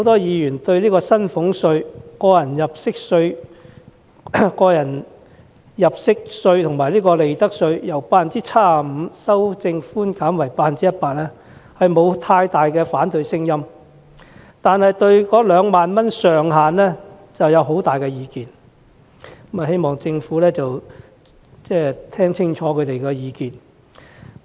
議員對薪俸稅、個人入息課稅及利得稅的稅務寬免百分比由 75% 提高至 100% 沒有太大反對聲音，但對於2萬元上限卻有很多意見，希望政府會細心聆聽他們的意見。